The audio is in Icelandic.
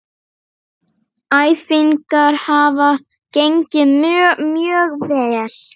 Æfingar hafa gengið mjög vel.